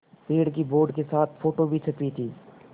पेड़ की बोर्ड के साथ फ़ोटो भी छपी थी